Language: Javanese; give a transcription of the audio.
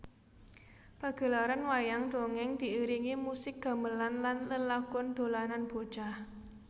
Pagelaran Wayang Dongèng diiringi musik gamelan lan lelagon dolanan bocah